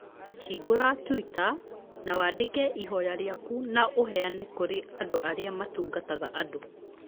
Hingũra twitter, an wandĩke ihoya rĩakwa na ũheane kurĩ andũ arĩa matungataga andũ.